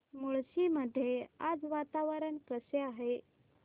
मुळशी मध्ये आज वातावरण कसे आहे